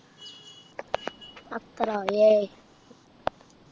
പത്രോ ഏയ്